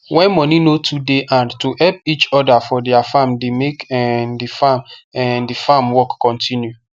when money no too dey hand to help eachother for their farm dey make um the farm um the farm work continue